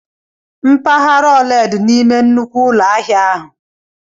Mpaghara ole di n'ime nnukwu ụlọ ahịa ahụ?